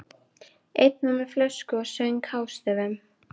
Einn var með flösku og söng hástöfum.